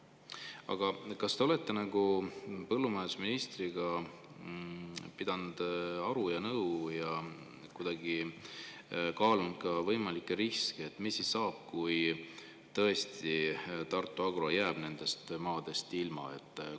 Aga kas te olete põllumajandusministriga pidanud aru ja nõu ja kaalunud ka võimalikke riske, mis saab siis, kui Tartu Agro jääb tõesti nendest maadest ilma?